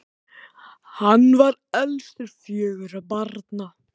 hann var elstur fjögurra barna